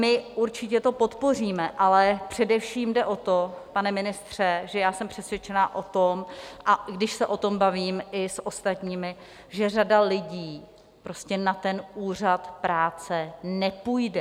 My určitě to podpoříme, ale především jde o to, pane ministře, že já jsem přesvědčena o tom - a když se o tom bavím i s ostatními - že řada lidí prostě na ten úřad práce nepůjde.